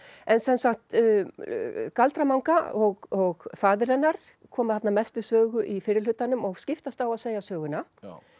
en galdra manga og faðir hennar koma mest við sögu í fyrri hlutanum og skiptast á að segja söguna